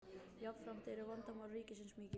jafnframt eru vandamál ríkisins mikil